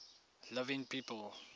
living people